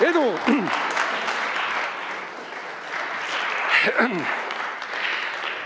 Edu!